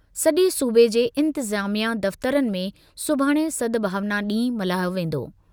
सजे॒ सूबे जे इंतिज़ामिया दफ़्तरनि में सुभाणे सद्भावना ॾींहुं मल्हायो वेंदो।